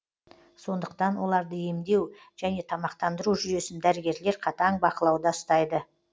сондықтан оларды емдеу және тамақтандыру жүйесін дәрігерлер қатаң бақылауда ұстайды